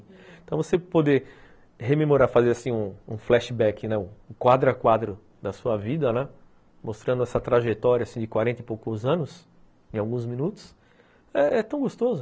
Então, você poder rememorar, fazer um flashback, né, um quadro a quadro da sua vida, mostrando essa trajetória de quarenta e poucos anos em alguns minutos, é tão gostoso.